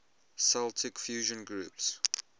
celtic fusion groups